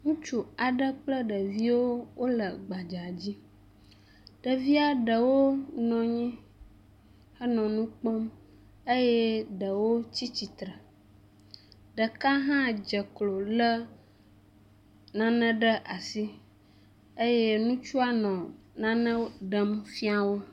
Ŋutsu aɖe kple ɖeviwo wole gbadza dzi. Ɖevia ɖewo nɔ anyi henɔ nu kpɔm eye ɖewo tsi tsitre. Ɖeka hã dze klo lé nane ɖe asi eye ŋutsua nɔ nane ɖem fia wo.